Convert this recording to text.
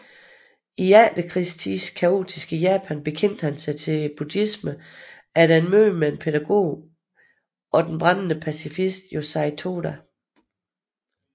I efterkrigstidens kaotiske Japan bekendte han sig til buddhismen efter et møde med pædagogen og den brændende pacifist Josei Toda